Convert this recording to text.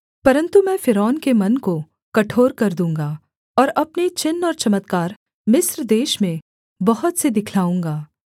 परन्तु मैं फ़िरौन के मन को कठोर कर दूँगा और अपने चिन्ह और चमत्कार मिस्र देश में बहुत से दिखलाऊँगा